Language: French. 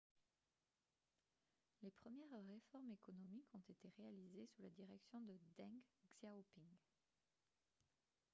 les premières réformes économiques ont été réalisées sous la direction de deng xiaoping